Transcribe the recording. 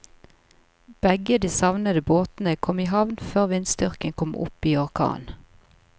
Begge de savnede båtene kom i havn før vindstyrken kom opp i orkan.